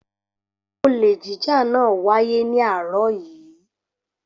Olè jíjà náà wáyé ní àárọ̀ yìí.